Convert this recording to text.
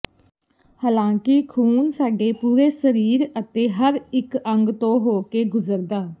ਹਾਲਾਂਕਿ ਖ਼ੂਨ ਸਾਡੇ ਪੂਰੇ ਸਰੀਰ ਅਤੇ ਹਰ ਇੱਕ ਅੰਗ ਤੋਂ ਹੋ ਕੇ ਗੁਜ਼ਰਦਾ